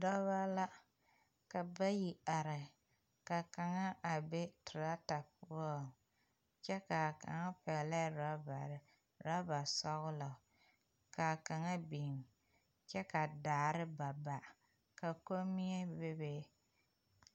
Dɔba la ka bayi are ka kaŋa a be teraata poɔŋ kyɛ ka kaŋa pɛglɛɛ orɔbare orɔbasɔgla ka kaŋa biŋ kyɛ ka daare ba ba ka kommie bebe.